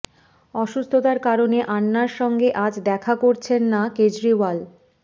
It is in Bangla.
অসুস্থতার কারণে আন্নার সঙ্গে আজ দেখা করছেন না কেজরিওয়াল